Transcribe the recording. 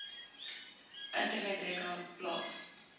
internet rekenaar plaas